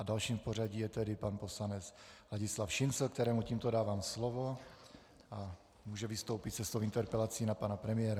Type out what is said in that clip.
A dalším v pořadí je tedy pan poslanec Ladislav Šincl, kterému tímto dávám slovo a může vystoupit se svou interpelací na pana premiéra.